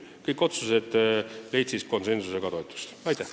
Aitäh!